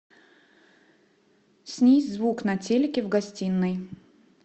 снизь звук на телике в гостиной